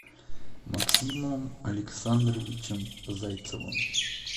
максимом александровичем зайцевым